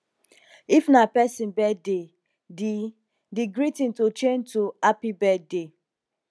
if na person birthday di di greeting to change to happy birthday